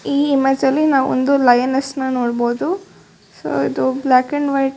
ಈ ಇಮೇಜ್ ಅಲ್ಲಿ ನಾವು ಒಂದು ಲಯನೆಸ್ಸ್ ನ ನೋಡ್ ಬೋದು ಸೋ ಇದು ಬ್ಲಾಕ್ ಅಂಡ್ ವೈಟ್ --